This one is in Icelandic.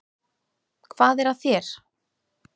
Hvað er að þér?